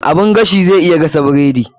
Oven zai iya gasa bredi.